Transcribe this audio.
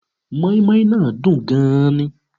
Móínmóín náà dùn gan ni